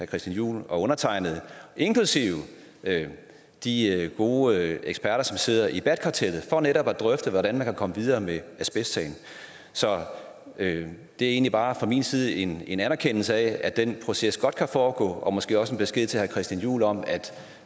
christian juhl og undertegnede inklusive de gode eksperter som sidder i bat kartellet for netop at drøfte hvordan man kan komme videre med asbestsagen så det er egentlig bare fra min side en en anerkendelse af at den proces godt kan foregå og måske også en besked til herre christian juhl om at